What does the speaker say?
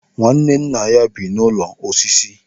Nwanne nna bibu n'ụlọ osisi.